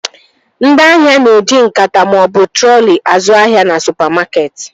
Ndị ahịa na-eji nkata maọbụ trọli azụ ahịa na supamakeetị